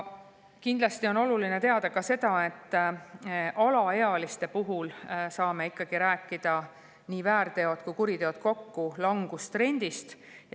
Kindlasti on oluline teada ka seda, et alaealiste puhul saame rääkida väärtegude ja kuritegude puhul kokku langustrendist.